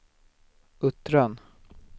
Uttran